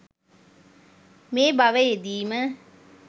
මේ භවයේදීම